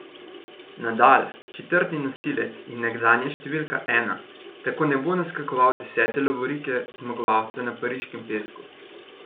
Nadal, četrti nosilec in nekdanja številka ena, tako ne bo naskakoval desete lovorike zmagovalca na pariškem pesku.